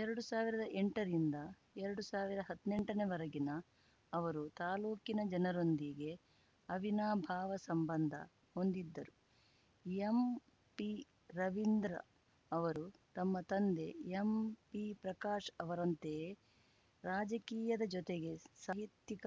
ಎರಡು ಸಾವಿರದ ಎಂಟರಿಂದ ಎರಡು ಸಾವಿರ ಹದ್ನೆಂಟನೆವರೆಗಿನ ಅವರು ತಾಲೂಕಿನ ಜನರೊಂದಿಗೆ ಅವಿನಾಭಾವ ಸಂಬಂಧ ಹೊಂದಿದ್ದರು ಎಂಪಿರವೀಂದ್ರ ಅವರೂ ತಮ್ಮ ತಂದೆ ಎಂಪಿಪ್ರಕಾಶ್‌ ಅವರಂತೆಯೇ ರಾಜಕೀಯದ ಜೊತೆಗೆ ಸಾಹಿತ್ಯಿಕ